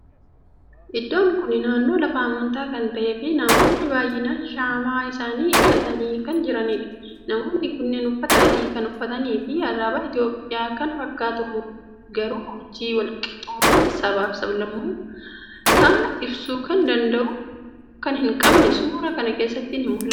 Iddoon kuni naannoo lafa amantaa kan ta'ee fii namoonnii baay'innan shaamaa isaanii ibsatanii kan jiraniidha. Namoonnii kunniin uffata adii kan uffataniifii alaabaa Itiyoophiyyaa kan fakkaatu garuu urjii walqixxummaa sabaaf saablammootaa ibsu kan hin qabne suura kana keessatti ni mul'ata.